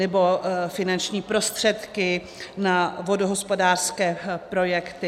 Nebo finanční prostředky na vodohospodářské projekty.